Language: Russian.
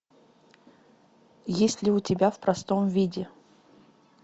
есть ли у тебя в простом виде